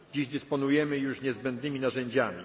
przed nami. Dziś dysponujemy już niezbędnymi